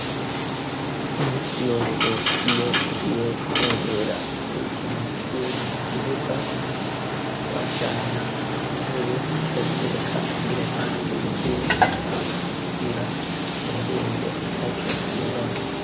Iminsi yose iyo tugiye kurorera urukino rwishure kukibuga, twajana intebe tukayitereka iruhande yikibuga, kugira turorere ataco twinona.